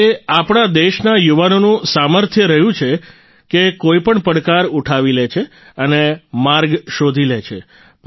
અને તે આપણે દેશના યુવાનોનું સામર્થ્ય રહ્યું છે કે કોઈપણ પડકાર ઉઠાવી લે છે અને માર્ગ શોધી લે છે